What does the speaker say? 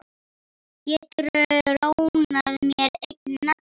Geturðu lánað mér einn nagla.